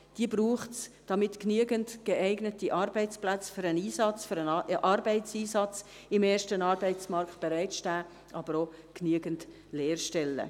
Diese braucht es, damit genügend geeignete Arbeitsplätze für den Einsatz, für den Arbeitseinsatz im ersten Arbeitsmarkt bereitstehen, aber auch genügend Lehrstellen.